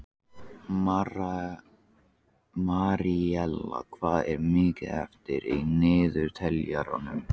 Maríella, hvað er mikið eftir af niðurteljaranum?